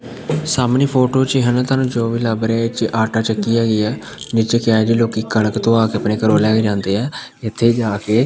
ਸਾਹਮਣੇ ਫੋਟੋ ਚ ਹੈਨਾ ਤੁਹਾਨੂੰ ਹੋ ਵੀ ਲੱਭ ਰਿਹਾ ਹੈ ਇਹਚ ਆਟਾ ਚੱਕੀ ਹੈਗੀ ਹੈ ਨਿੱਚੇ ਲੋਕਿ ਕਣਕ ਧੂਵਾ ਕੇ ਅਪਣੇ ਘਰੋਂ ਲਏ ਕੇ ਜਾਂਦੇ ਹੈਂ ਇੱਥੇ ਜਾ ਕੇ--